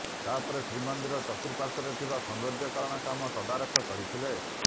ତାପରେ ଶ୍ରୀମନ୍ଦିର ଚତୁର୍ପାର୍ଶ୍ବରେ ଥିବା ସୌନ୍ଦର୍ଯ୍ୟକରଣ କାମ ତଦାରଖ କରିଥିଲେ